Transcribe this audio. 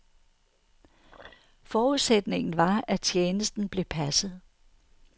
Forudsætningen var, at tjenesten blev passet.